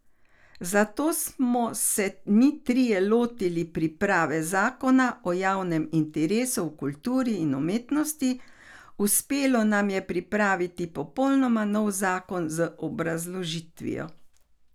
Zato smo se mi trije lotili priprave zakona o javnem interesu v kulturi in umetnosti, uspelo nam je pripraviti popolnoma nov zakon z obrazložitvijo.